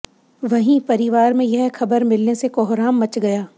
वहीं परिवार में यह खबर मिलने से कोहराम मच गया